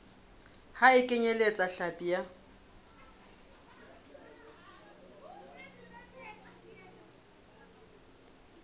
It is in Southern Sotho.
ha e kenyeletse hlapi ya